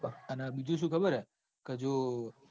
અને બીજું સુ ખબર હ. કે જો